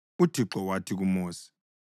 UThixo wathi kuMosi,